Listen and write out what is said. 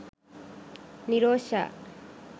nirosha